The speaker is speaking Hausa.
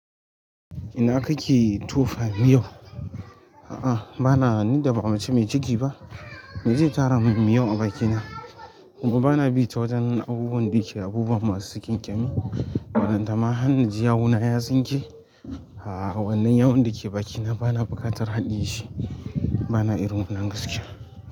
Ina kake tofa miyo? A'a, bana hani da ba mace mai ciki ba. Me zai tara mam miyau a bakina? Gobe bana bi ta wajen abubuwan da yake abubuwa masu ƙyanƙemi, waɗanda ma har inji yawuna ya tsinke. A'a, wannan yawun da ke bakina bana buƙatar haɗeshi, bana irin wannan gaskiya.